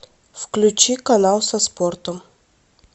включи канал со спортом